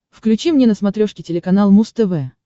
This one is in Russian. включи мне на смотрешке телеканал муз тв